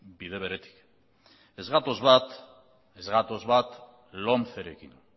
ez gatoz bat lomcerekin